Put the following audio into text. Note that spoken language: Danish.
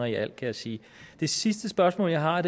i alt kan jeg sige det sidste spørgsmål jeg har er